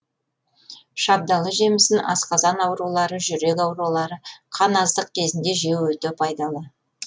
шабдалы жемісін асқазан аурулары жүрек ауруы қан аздық кезінде жеу өте пайдалы